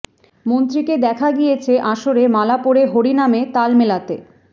মন্ত্রীকে দেখা গিয়েছে আসরে মালা পরে হরিনামে তাল মেলাতে